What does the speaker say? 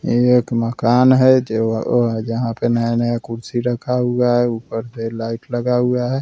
इ एक मकान है जो ओ ओ जहाँ पे नया-नया कुर्सी रखा हुआ है ऊपर पे लाइट लगा हुआ है ।